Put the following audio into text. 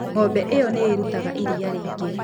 Ng'ombe ĩyo nĩ ĩrutaga iria rĩingĩ.